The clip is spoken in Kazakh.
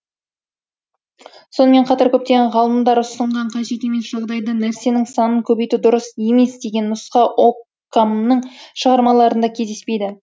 сонымен қатар көптеген ғалымдар ұсынған қажет емес жағдайда нәрсенің санын көбейту дұрыс емес деген нұсқа оккамның шығармаларында кездеспейді